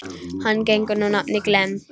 Hann gegnir nú nafninu Glenn.